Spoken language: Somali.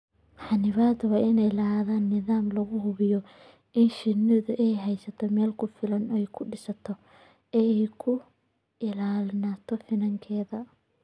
Xannibadu waa inay lahaataa nidaam lagu hubinayo in shinnidu ay haysato meel ku filan oo ay ku dhisto oo ay ku ilaaliso finankeeda.